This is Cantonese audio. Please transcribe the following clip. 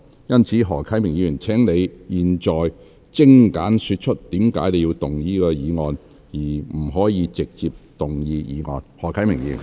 因此，何議員，現在你只可精簡說出你為何要動議此議案，而不可直接動議議案。